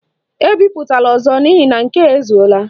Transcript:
Ebipụtala ọzọ n' ihi na nke a ezuola!